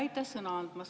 Aitäh sõna andmast!